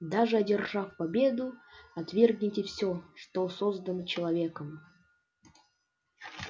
даже одержав победу отвергните всё что создано человеком